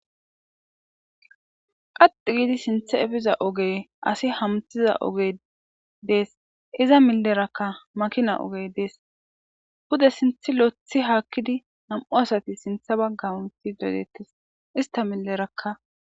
qaxi giidi sintha efiza ogey asi hamthiza ogey dees iza millerakka makina ogey dees buda sinthi lothi haakkidi nam7u asati sintha baggaunti dodettes ista millerakka